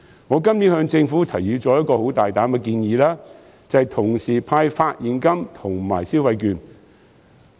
我今年向政府提出了一項很大膽的建議，就是同時派發現金和消費券。